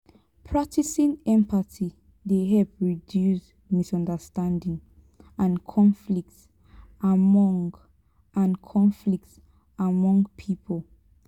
practicing empathy dey help reduce misunderstanding and conflict among and conflict among pipo.